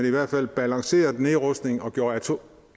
i hvert fald balancerede nedrustningen og gjorde